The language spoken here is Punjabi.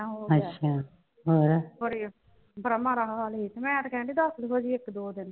ਅੱਛਾ ਹੋਰ। ਬੜੇ ਉਹ ਰਾਹੋਂ ਵਾਲੇ, ਮੈਂ ਤੇ ਕਹਿੰਨੀ ਆ ਦਸ ਕੁ ਵਾਰੀ ਇੱਕ ਦੋ ਦਿਨ ਹੋਰ ਰਹਿ ਪਾ।